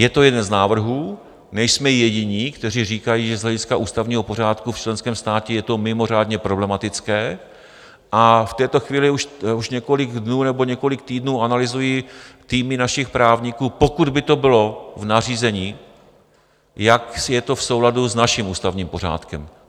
Je to jeden z návrhů, nejsme jediní, kteří říkají, že z hlediska ústavního pořádku v členském státě je to mimořádně problematické, a v této chvíli už několik dnů nebo několik týdnů analyzují týmy našich právníků, pokud by to bylo v nařízení, jak je to v souladu s naším ústavním pořádkem.